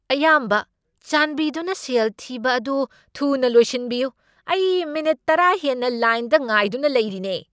ꯑꯌꯥꯝꯕ, ꯆꯥꯟꯕꯤꯗꯨꯅ ꯁꯦꯜ ꯊꯤꯕ ꯑꯗꯨ ꯊꯨꯅ ꯂꯣꯏꯁꯤꯟꯕꯤꯌꯨ! ꯑꯩ ꯃꯤꯅꯤꯠ ꯇꯔꯥ ꯍꯦꯟꯅ ꯂꯥꯏꯟꯗ ꯉꯥꯏꯗꯨꯅ ꯂꯩꯔꯤꯅꯦ꯫